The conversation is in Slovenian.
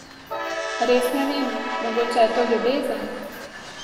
Res ne vem, mogoče je to ljubezen?